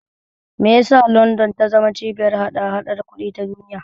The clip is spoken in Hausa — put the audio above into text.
Me yasa London ta zama cibiyar hada-hadar kuɗi ta duniya?